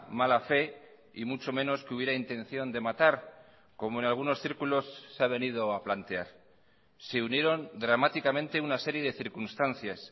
mala fe y mucho menos que hubiera intención de matar como en algunos círculos se ha venido a plantear se unieron dramáticamente una serie de circunstancias